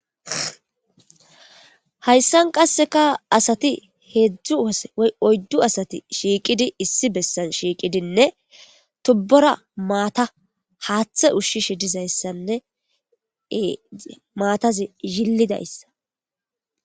Hayssan qasseka asati heedzdzu wose y oyddu asati shiiqidi issi bessan shiiqidinne tubbora maata haaththe ushshishe dizayssanne maatazi yillidayssa.